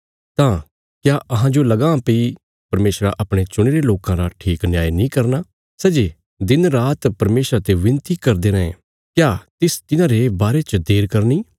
तां क्या तुहांजो लगां भई परमेशरा अपणे चुणीरे लोकां रा ठीक न्याय नीं करना सै जे दिन रात परमेशरा ते विनती करदे रैं क्या तिस तिन्हारे बारे च देर करनी